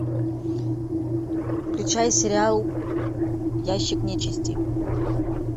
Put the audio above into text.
включай сериал ящик нечисти